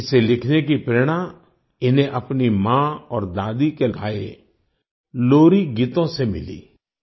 इसे लिखने की प्रेरणा इन्हें अपनी माँ और दादी के गाए लोरीगीतों से मिली